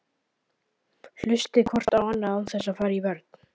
Hlustið hvort á annað án þess að fara í vörn.